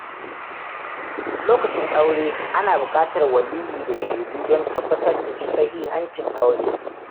Lokacin aure, ana buƙatar waliyyi da shaidu don tabbatar da sahihancin aure.